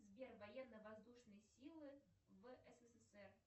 сбер военно воздушные силы в ссср